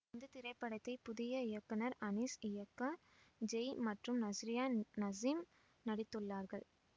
இந்த திரைப்படத்தை புதிய இயக்குனர் அனீஸ் இயக்க ஜெய் மற்றும் நஸ்ரியா நசீம் நடித்துள்ளார்கள்